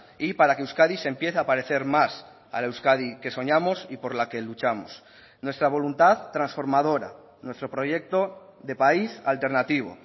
y para que euskadi se empiece a parecer más a la euskadi que soñamos y por la que luchamos nuestra voluntad transformadora nuestro proyecto de país alternativo